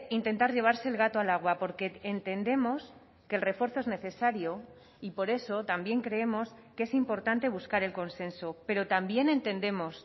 intentar llevarse el gato al agua porque entendemos que el refuerzo es necesario y por eso también creemos que es importante buscar el consenso pero también entendemos